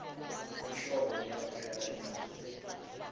ihlobo liyaphela inyanga le